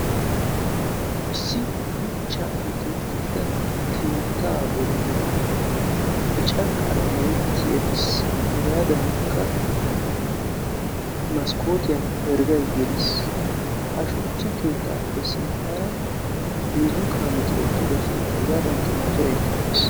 issi shuchchaappe meretida keettaa bollan bicca qalamee eqqiis. qassikka motoree penggen eqqidaagee nuussi beettees.